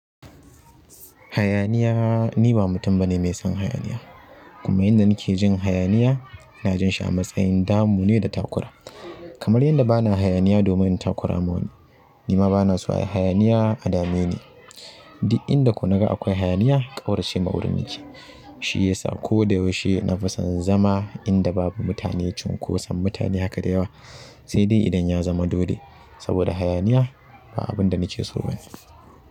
Hayaniya, ni ba mutum bane mai son hayaniya. Kuma inda nake jin hayaniya, na jin shi a matsayin damu ne da takura. Kamar yanda bana hayaniya domin takura ma wani, nima bana so a yi hayaniya a dameni. Di inda ko naga akwai hayaniya ƙaurace ma wurin yake. Shi yasa ko da yaushe na fi son zama inda babu mutane cinkoson mutane haka da yawa, sai dai idan ya zama dole. Saboda hayaniya ba abin da nike so bane.